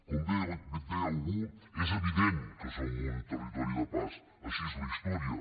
com bé deia algú és evident que som un territori de pas així és la història